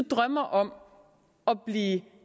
drømmer om at blive